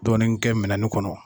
Dɔɔnin kɛ minɛni kɔnɔ